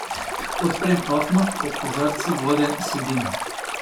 Odprem okno, ob kozarcu vode, sedim.